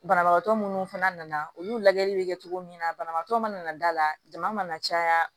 Banabagatɔ minnu fana nana olu lajɛli bɛ kɛ cogo min na banabagatɔ mana na da la jama caya